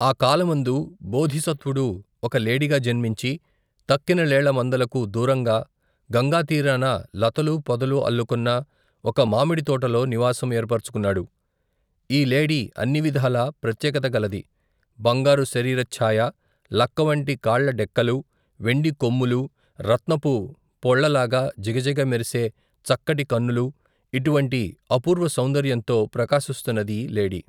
ఆ కాలమందు బోధిసత్వుడు ఒక లేడిగా జన్మించి తక్కిన లేళ్ళ మందలకు, దూరంగా గంగాతీరాన లతలూ పొదలూ అల్లుకొన్న ఒక మామిడితోటలో నివాసం ఏర్పరచుకున్నాడు ఈ లేడి అన్నివిధాలా ప్రత్యేకత గలది బంగారు శరీరఛ్చాయ లక్కవంటి కాళ్లడెక్కలు వెండికొమ్ములు రత్నపు పొళ్లలాగా జిగజిగ మెరిసే, చక్కటి కన్నులు ఇటువంటి అపూర్వ సౌందర్యంతో ప్రకాశిస్తున్నదీ లేడి.